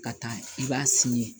Ka taa i b'a sin